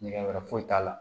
Nɛgɛ wɛrɛ foyi t'a la